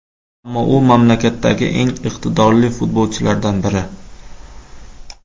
Ammo u mamlakatdagi eng iqtidorli futbolchilardan biri.